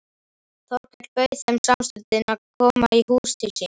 Þórkell bauð þeim samstundis að koma í hús til sín.